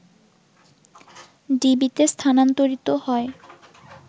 ডিবিতে স্থানান্তরিত হয়